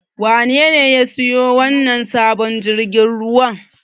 Wanene ya siyo wannan sabon jirgin ruwan?